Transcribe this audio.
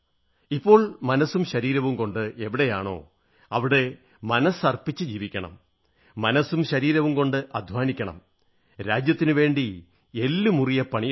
ഇപ്പോൾ മനസ്സും ശരീരവും കൊണ്ട് എവിടെയാണോ അവിടെ മനസ്സർപ്പിച്ച് ജീവിക്കണം മനസ്സും ശരീരവും കൊണ്ട് അധ്വാനിക്കണം രാജ്യത്തിനുവേണ്ടി എല്ലുമുറിയെ പണിയെടുക്കണം